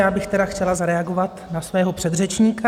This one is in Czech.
Já bych tady chtěla zareagovat na svého předřečníka.